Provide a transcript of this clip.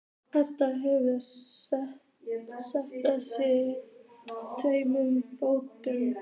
Edda hefur skellt í sig tveim bjórum.